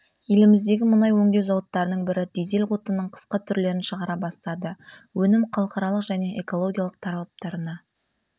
еліміздегі мұнай өңдеу зауыттарының бірі дизель отынының қысқы түрлерін шығара бастады өнім халықаралық және экологиялық талаптарына